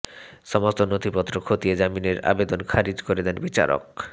সমস্ত নথিপত্র খতিয়ে জামিনের আবেদন খারিজ করে দেন বিচারক